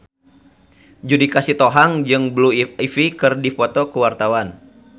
Judika Sitohang jeung Blue Ivy keur dipoto ku wartawan